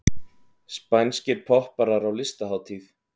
Spænskir popparar á listahátíð